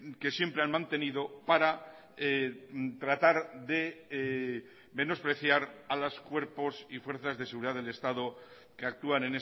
que siempre han mantenido para tratar de menospreciar a los cuerpos y fuerzas de seguridad del estado que actúan